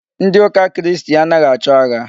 Ndị ụka Kristi anaghị achọ agha.